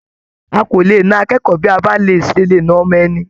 A kò le na akẹ́kọ̀ọ́ bí a ṣe lè na ọmọ ẹni